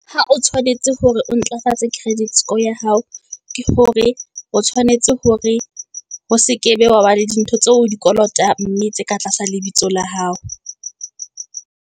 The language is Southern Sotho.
Ha o tshwanetse hore o ntlafatse credit score ya hao, ke hore o tshwanetse hore ho sekebe wa ba le di ntho tseo o di kolotang mme tse ka tlasa lebitso la hao.